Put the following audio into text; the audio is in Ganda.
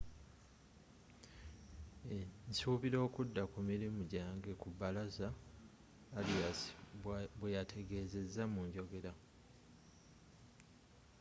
nsuubira okudda ku mirimu gyange ku bbalaza,”arias bweyategezeza mu njogera